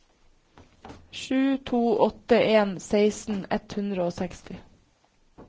sju to åtte en seksten ett hundre og seksti